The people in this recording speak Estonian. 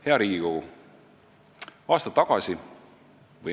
Hea Riigikogu!